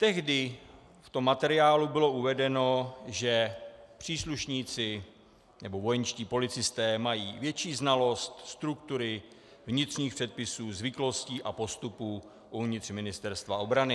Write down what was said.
Tehdy v tom materiálu bylo uvedeno, že příslušníci, nebo vojenští policisté, mají větší znalost struktury, vnitřních předpisů, zvyklostí a postupů uvnitř Ministerstva obrany.